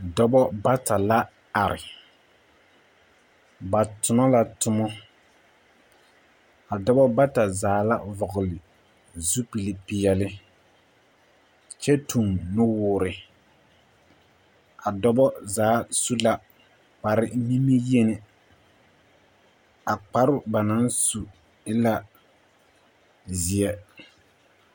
Dɔbɔ bata la are, ba tonɔ la tomɔ. A dɔbɔ bata zaa la vɔgele zupilpeɛle kyɛ tuŋ nuwoore. A dɔbɔ zaa su la kparenimiyeni, a kparoo ba naŋ su e la zeɛ.